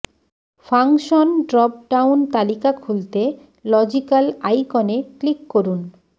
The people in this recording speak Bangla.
ফাংশন ড্রপ ডাউন তালিকা খুলতে লজিকাল আইকনে ক্লিক করুন